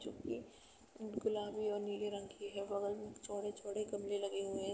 जोकि गुलाबी व नीले रंग की है। बगल में चौड़े-चौड़े गमले लगे हुएं हैं।